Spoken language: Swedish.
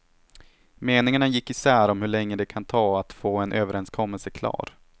Meningarna gick isär om hur länge det kan ta att få en överenskommelse klar.